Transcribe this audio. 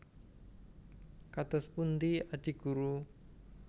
Kados pundi Adi Guru